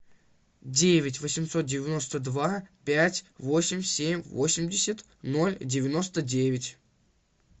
девять восемьсот девяносто два пять восемь семь восемьдесят ноль девяносто девять